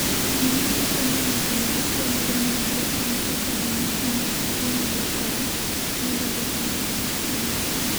Gima nyiso ni ng’ato nigi tuwo mar Mnire en kaka ranyisi mag tuwono lokore, medore kendo dok piny.